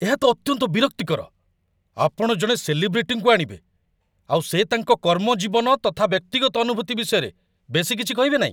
ଏହା ତ ଅତ୍ୟନ୍ତ ବିରକ୍ତିକର, ଆପଣ ଜଣେ ସେଲିବ୍ରିଟିଙ୍କୁ ଆଣିବେ ଆଉ ସେ ତାଙ୍କ କର୍ମଜୀବନ ତଥା ବ୍ୟକ୍ତିଗତ ଅନୁଭୂତି ବିଷୟରେ ବେଶୀ କିଛି କହିବେନାହିଁ !